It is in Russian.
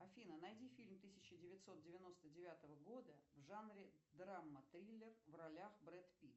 афина найди фильм тысяча девятьсот девяносто девятого года в жанре драма триллер в ролях брэд питт